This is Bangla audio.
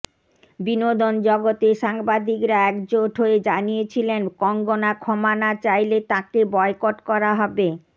বিনোদন জগতের সাংবাদিকরা একজোট হয়ে জানিয়েছিলেন কঙ্গনা ক্ষমা না চাইলে তাঁকে বয়কট করা হবে